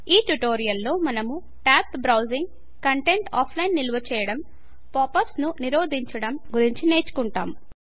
ఈ ట్యుటోరియల్ లో మనము టాబ్డ్ బ్రౌజింగ్ కంటెంట్ను ఆఫ్లైన్ నిల్వ చేయడం పాప్ అప్స్ ను నిరోధించడం గురించి నేర్చుకుంటాం